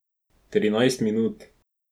Trinajst minut.